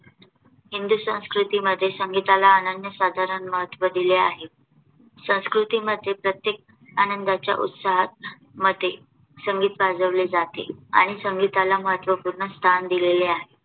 हिंदी संस्कृतीमध्ये संगीताला अनन्यसाधारण महत्त्व दिले आहे. संस्कृतीमध्ये प्रत्येक आनंदाचा उत्साहामध्ये संगीत वाजवले जाते आणि संगीताला महत्वपूर्ण स्थान दिलेले आहे.